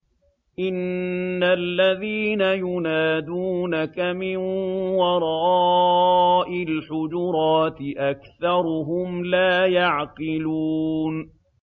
إِنَّ الَّذِينَ يُنَادُونَكَ مِن وَرَاءِ الْحُجُرَاتِ أَكْثَرُهُمْ لَا يَعْقِلُونَ